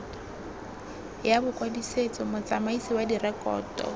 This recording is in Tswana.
ya bokwadisetso motsamaisi wa direkoto